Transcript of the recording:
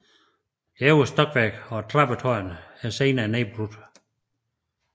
Det øverste stokværk og trappetårnet er senere nedbrudt